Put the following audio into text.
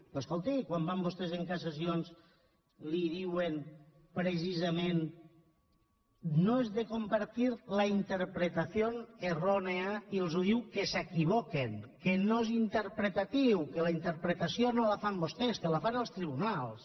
doncs escolti quan van vostès a cassacions li diuen precisament no es de compartir la interpretación errónea i ens diu que s’equivoquen que no és interpretatiu que la interpretació no la fan vostès que la fan els tribunals